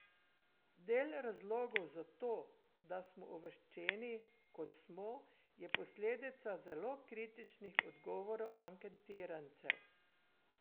Del razlogov za to, da smo uvrščeni, kot smo, je posledica zelo kritičnih odgovorov anketirancev.